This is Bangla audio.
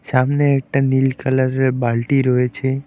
সামনে একটা নীল কালারের বালটি রয়েছে।